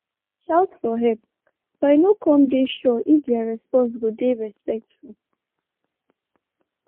i bin shout for help but i no come dey sure if their response go dey respectful.